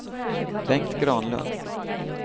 Bengt Granlund